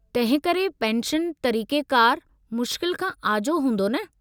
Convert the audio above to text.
तंहिं करे पेंशन तरीक़ेकारु मुश्किल खां आजो हूंदो न?